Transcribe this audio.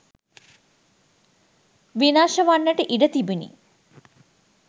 විනාශ වන්නට ඉඩ තිබුණි.